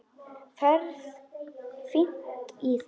Ferð fínt í það.